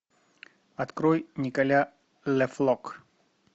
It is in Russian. открой николя ле флок